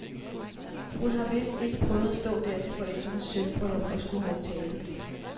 Hun har vidst ikke prøvet at stå der til forældrenes sølvbryllup og skulle holde tale.